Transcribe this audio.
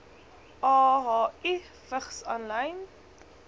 ahi vigs aanlyn